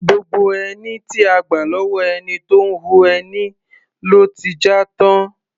Gbogbo ẹní tí a gbà lọ́wọ́ ẹni tó ń hun ẹni ló ti já tán.